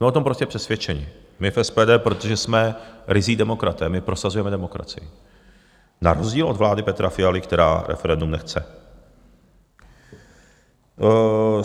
Jsme o tom prostě přesvědčeni, my v SPD, protože jsme ryzí demokraté, my prosazujeme demokracii na rozdíl od vlády Petra Fialy, která referendum nechce.